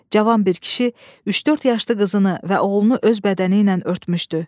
Cavan bir kişi üç-dörd yaşlı qızını və oğlunu öz bədəni ilə örtmüşdü.